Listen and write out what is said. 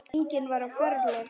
Enginn var á ferli.